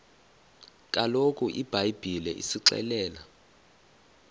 kaloku ibhayibhile isixelela